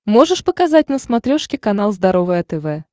можешь показать на смотрешке канал здоровое тв